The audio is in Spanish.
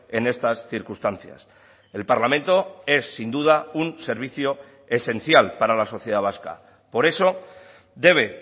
en estas circunstancias el parlamento es sin duda un servicio esencial para la sociedad vasca por eso debe